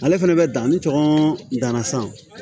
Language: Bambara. Ale fɛnɛ bɛ dan ni tɔngɔn danna san